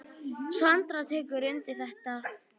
Sandra tekur undir þetta.